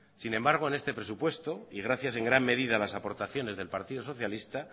sin embargo en este presupuesto y gracias en gran medida a alasaportaciones del partido socialista